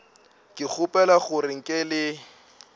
ke kgopela gore nke le